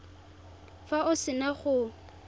fa o se na go